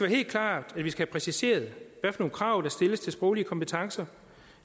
helt klart at vi skal have præciseret hvilke krav der stilles til sproglige kompetencer